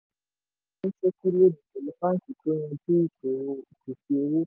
a bẹ̀rẹ̀ ìsọnísókí lónìí pẹ̀lú báńkì tó yanjú ìṣòro ìpèsè owó.